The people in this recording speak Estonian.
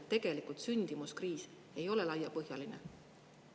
Tegelikult sündimuskriis ei ole laiapõhjaline.